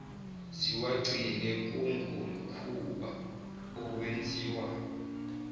ziwagcine kungumkhuba owenziwa